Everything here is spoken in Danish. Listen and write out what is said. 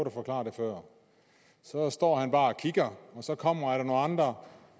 at forklare det før så står han bare kigger og så kommer der nogle andre